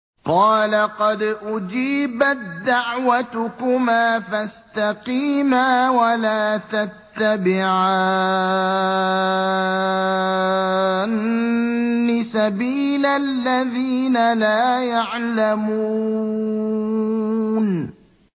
قَالَ قَدْ أُجِيبَت دَّعْوَتُكُمَا فَاسْتَقِيمَا وَلَا تَتَّبِعَانِّ سَبِيلَ الَّذِينَ لَا يَعْلَمُونَ